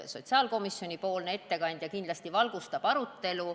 Sotsiaalkomisjoni ettekandja kindlasti valgustab seda arutelu.